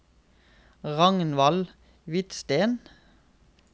Ragnvald Hvidsten